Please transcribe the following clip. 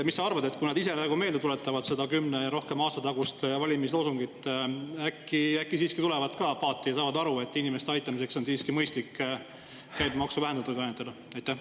Mis sa arvad, kui nad ise ka meelde tuletavad seda kümne ja rohkema aasta tagust valimisloosungit, äkki nad siiski tulevad ka paati ja saavad aru, et inimeste aitamiseks on siiski mõistlik toiduainete käibemaksu vähendada?